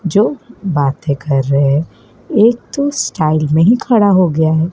जो बातें कर रहे हैं एक तो स्टाइल में ही खड़ा हो गया है।